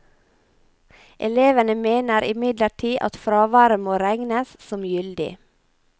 Elevene mener imidlertid at fraværet må regnes som gyldig.